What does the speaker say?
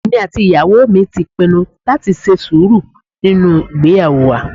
Èmi àti ìyàwó mi ti pinnu láti ṣe sùúrù nínú ìgbéyàwó wa